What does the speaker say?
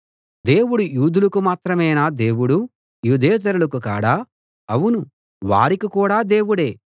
దేవుడు యూదులకు మాత్రమేనా దేవుడు యూదేతరులకు కాడా అవును వారికి కూడా దేవుడే